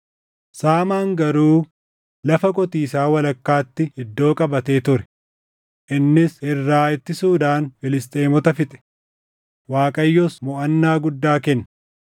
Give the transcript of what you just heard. Saamaan garuu lafa qotiisaa walakkaatti iddoo qabatee ture. Innis irraa ittisuudhaan Filisxeemota fixe; Waaqayyos moʼannaa guddaa kenne.